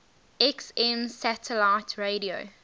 xm satellite radio